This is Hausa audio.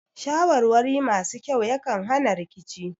Shawarwari masu kyau yakan hana rikici